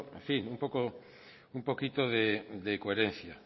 en fin un poquito de coherencia